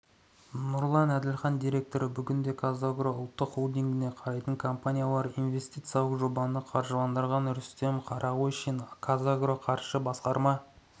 нұрлан әділхан директоры бүгінде қазагро ұлттық холдингіне қарайтын компаниялар инвестициялық жобаны қаржыландырған рүстем қарағойшин қазагроқаржы басқарма